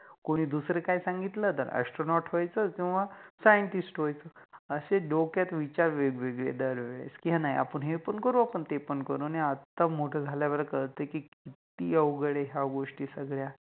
कोनि दुसर काय संगितल तर Astronot व्हायच किव्वा Scientist व्हायच. असे डोक्यात विचार वेगवेगळे दरवेळेस कि नाहि आपण हे पण करु, आपण ते पण करु. आणि मोठ झाल्यावर कळते कि किति अवघड आहे ह्या गोष्टी सगळ्या